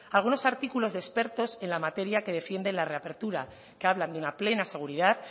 algunos artículos expertos en la materia que defienden la reapertura que hablan de una plena seguridad